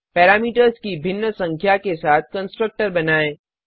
parameters की भिन्न संख्या के साथ कंस्ट्रक्टर बनाएँ